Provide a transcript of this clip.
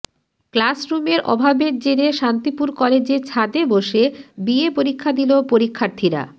ক্লাসরুমের অভাবের জেরে শান্তিপুর কলেজে ছাদে বসে বিএ পরীক্ষা দিল পরীক্ষার্থীরা